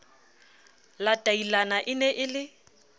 latailana e ne e le